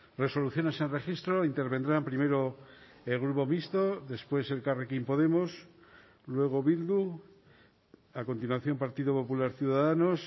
resoluciones en registro intervendrán primero el grupo mixto después elkarrekin podemos luego bildu a continuación partido popular ciudadanos